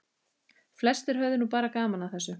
Flestir höfðu nú bara gaman að þessu.